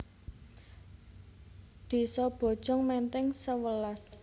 Désa Bojong Menteng sewelas